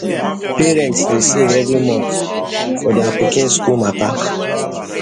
parents dey save every month for their pikin school matter